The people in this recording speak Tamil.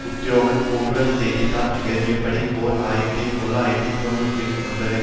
உத்தியோகபூர்வ செய்தி தாள் எழுதியுள்ளபடி ஓர் ஆயிரத்தி தொள்ளாயிரத்து தொன்னூற்றி ஒன்பதில்